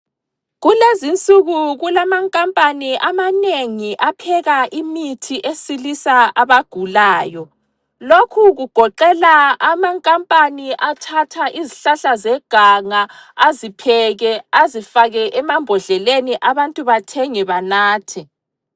Kulezinsuku kulamankampani amanengi apheka imithi esilisa abagulayo .Lokhu kugoqela amankampani athatha izihlahla zeganga azipheke azifake emambodleleni. Abantu bathenge benathe.